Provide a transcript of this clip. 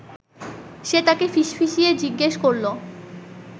সে তাঁকে ফিসফিসিয়ে জিজ্ঞেস করল